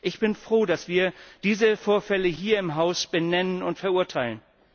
Ich bin froh, dass wir diese Vorfälle hier im Haus benennen und verurteilen.